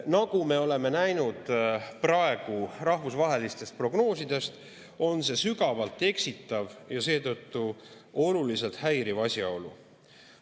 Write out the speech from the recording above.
Nagu me oleme näinud praegu rahvusvahelistest prognoosidest, on see sügavalt eksitav ja seetõttu oluliselt häiriv asjaolu.